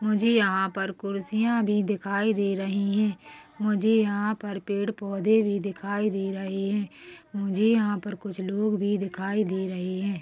मुझे यहाँ पर कुर्सियां भी दिखाई दी रही हैं मुझे यहाँ पर पेड़-पौधे भी दिखाई दे रहे हैं मुझे यहाँ पर कुछ लोग भी दिखाई दे रहे हैं।